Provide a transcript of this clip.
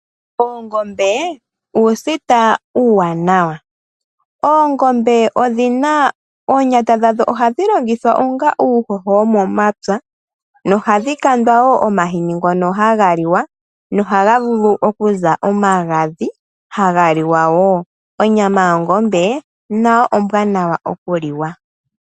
Oongombe uusita uuwanawa. Oongombe ohadhi tu pe oonyata ndhoka hatu dhi longitha onga uuhoho womomapya nohadhi kandwa omahini ngono haga liwa no haga vulu okuza omagadhi haga liwa woo. Onyama yoongombe nayo ombwaanawa okuliwa.